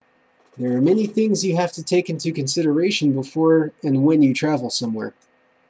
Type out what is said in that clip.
there are many things you have to take into consideration before and when you travel somewhere